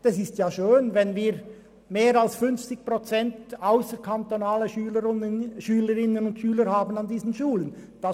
Es ist schön, wenn wir über 50 Prozent ausserkantonale Schülerinnen und Schüler an diesen Schulen haben.